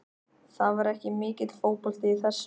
Það var ekki mikill fótbolti í þessu.